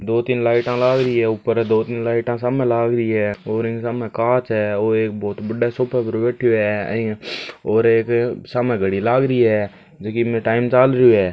दो तीन लाइटा लाग री है ऊपर दो तीन लाइटा सामे लाग री है और इन् सामे कांच है और एक बहुत बड़ा सोफा पर बैठियो है और एक सामे घडी लाग री है जैकी ईमे टाइम चाल रयो है।